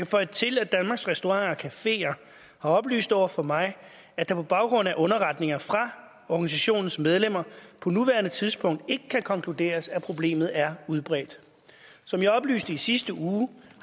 føje til at danmarks restauranter cafeer har oplyst over for mig at det på baggrund af underretninger fra organisationens medlemmer på nuværende tidspunkt ikke kan konkluderes at problemet er udbredt som jeg oplyste i sidste uge